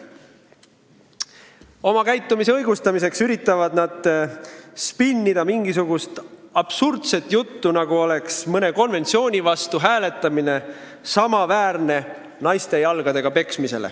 Oma käitumise õigustamiseks üritavad nad spinnida, ajades mingisugust absurdset juttu, nagu oleks mõne konventsiooni vastu hääletamine samaväärne kui naiste jalgadega peksmine.